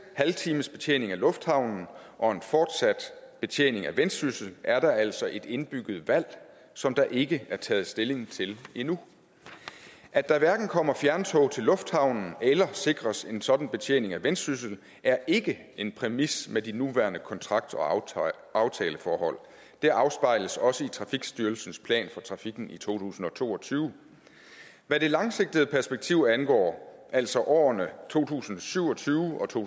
halvtimesbetjening af lufthavnen og en fortsat betjening af vendsyssel er der altså et indbygget valg som der ikke er taget stilling til endnu at der hverken kommer fjerntog til lufthavnen eller sikres en sådan betjening af vendsyssel er ikke en præmis med de nuværende kontrakt og aftaleforhold det afspejles også i trafikstyrelsens plan for trafikken i to tusind og to og tyve hvad det langsigtede perspektiv angår altså årene to tusind og syv og tyve og to